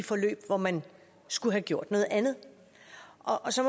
i forløb hvor man skulle have gjort noget andet og så